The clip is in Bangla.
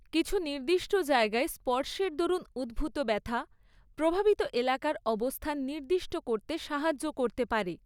কিছু নির্দিষ্ট জায়গায় স্পর্শের দরুণ উদ্ভূত ব্যথা প্রভাবিত এলাকার অবস্থান নির্দিষ্ট করতে সাহায্য করতে পারে।